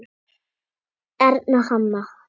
Erna Hanna.